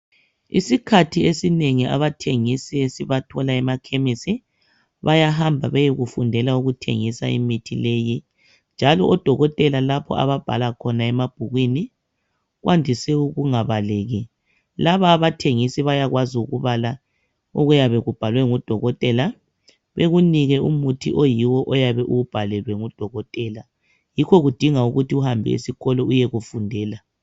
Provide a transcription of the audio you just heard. Isikhathi esinengi abathengisi esibathola ema Khemisi bayahamba beyekufundela ukuthengisa imithi leyi, njalo odokotela lapho ababhala khona emabhukwini kwandise ukungabaleki. Laba abathengisi bayakwazi ukubala okuyabe kubhalwe ngudokotela, bekunike umuthi oyiwo oyabe uwubhalelwe ngudokotela. Yikho kudinga ukuthi uhambe esikolo uyekufundela.